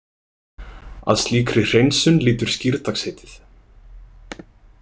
Að slíkri hreinsun lýtur skírdagsheitið.